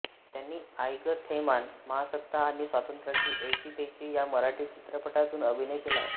त्यांनी आई गं थैमान महासत्ता आणि स्वातंत्र्याची ऐशी तैशी या मराठी चित्रपटांतून अभिनय केला आहे